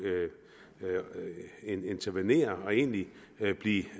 intervenere og egentlig egentlig